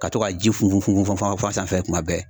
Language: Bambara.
Ka to ka ji funfun funfun funfun a sanfɛ kuma bɛɛ.